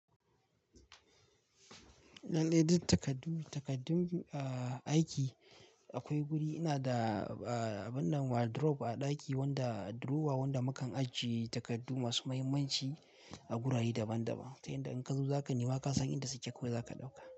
Lallai duk takaddun, takaddun, ah, aiki akwai guri. Ina da, ah, wannan wardrobe a ɗaki wanda drawer wanda mukan ajiye takardu masu muhimmanci a gurare daban daban. Ta inda in ka zo za ka nema ka san inda suke ko za ka ɗauka.